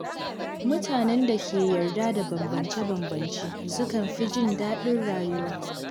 Mutanen da ke yarda da bambance-bambance sukan fi jin daɗin rayuwa.